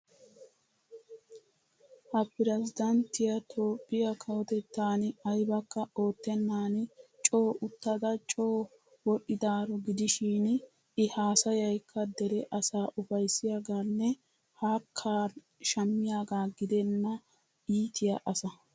Ha peresddanttiya Toophphiya kawotettan aybakka oottennan coo uttada coo wodhdhidaaro gidishin I haasayaykka dere asaa ufayssiyagaanne hakkaa shammiyagaa gidenna iitiya asa.